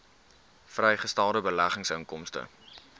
vrygestelde beleggingsinkomste